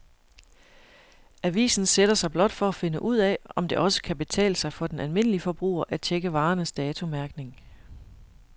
Avisen sætter sig blot for at finde ud af, om det også kan betale sig for den almindelige forbruger at checke varernes datomærkning.